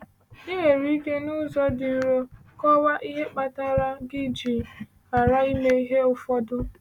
Ị nwere ike, n’ụzọ dị nro, kọwaa ihe kpatara gị ji ghara ime ihe ụfọdụ.